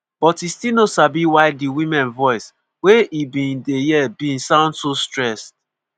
but e still no sabi why di women voice wey e bin dey hear bin sound so stressed.